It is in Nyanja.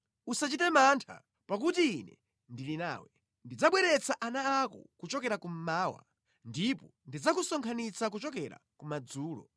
Usachite mantha, pakuti Ine ndili nawe; ndidzabweretsa ana ako kuchokera kummawa, ndipo ndidzakusonkhanitsani kuchokera kumadzulo.